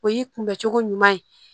O y'i kunbɛ cogo ɲuman ye